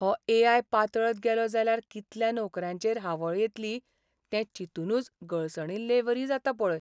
हो ए.आय. पातळत गेलो जाल्यार कितल्या नोकऱ्यांचेर हावळ येतली तें चिंतूनच गळसणिल्लेवरी जाता पळय.